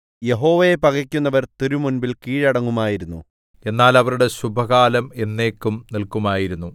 യഹോവയെ പകക്കുന്നവർ തിരുമുമ്പിൽ കീഴടങ്ങുമായിരുന്നു എന്നാൽ അവരുടെ ശുഭകാലം എന്നേക്കും നില്‍ക്കുമായിരുന്നു